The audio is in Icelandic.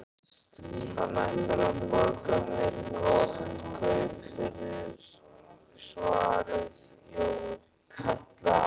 Hann ætlar að borga mér gott kaup fyrir, svaraði Jói.